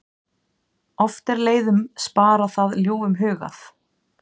Oft er leiðum sparað það ljúfum hugað.